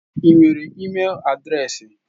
Ị nwere ịmel adreesị?